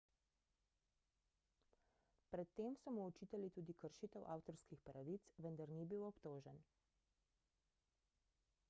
pred tem so mu očitali tudi kršitev avtorskih pravic vendar ni bil obtožen